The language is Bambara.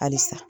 Halisa